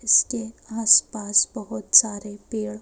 इसके आसपास बहुत सारे पेड़--